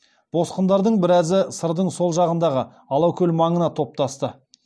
босқындардың біразы сырдың сол жағындағы алакөл маңына топтасты